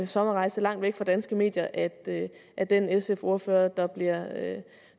sommerrejse langt væk fra danske medier at at den sf ordfører der bliver